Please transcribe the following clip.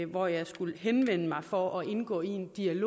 hvor jeg skulle henvende mig for at indgå i en dialog